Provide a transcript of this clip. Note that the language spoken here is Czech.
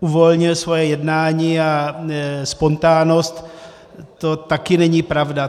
uvolnil svoje jednání a spontánnost, to také není pravda.